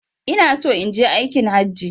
Inaso inje aikin hajji